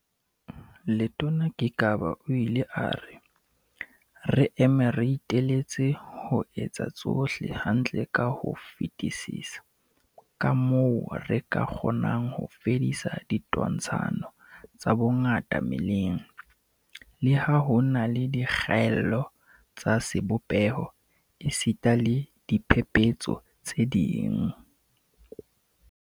Letona Gigaba o ile a re, "Re eme re iteletse ho etsa tsohle hantle ka ho fetisisa kamoo re ka kgonang ho fedisa ditwantshano tsa bongata meleng, le ha ho na le dikgaello tsa sebopeho esita le diphephetso tse ding."